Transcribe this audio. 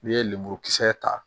N'i ye lemurukisɛ ta